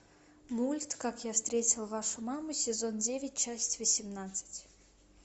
мульт как я встретил вашу маму сезон девять часть восемнадцать